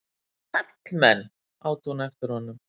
Karlmenn! át hún eftir honum.